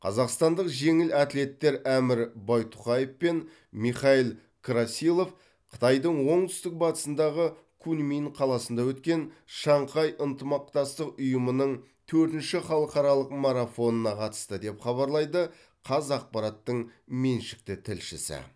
қазақстандық жеңіл атлеттер әмір байтұқаев пен михаил красилов қытайдың оңтүстік батысындағы куньмин қаласында өткен шанхай ынтымақтастық ұйымының төртінші халықаралық марафонына қатысты деп хабарлайды қазақпараттың меншікті тілшісі